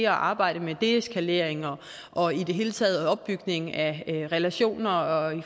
at arbejde med deeskalering og i det hele taget opbygning af relationer og